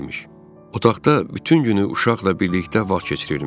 Otaqda bütün günü uşaqla birlikdə vaxt keçirirmiş.